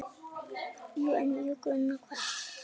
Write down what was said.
Jú, en gruna hvað?